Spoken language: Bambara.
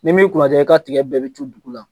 N'i m'i kunadiya i ka tigɛ bɛɛ bɛ cun dugu la.